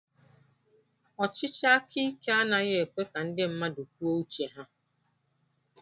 Ọchịchị aka ike anaghị ekwe ka ndị mmadụ kwuo uche ha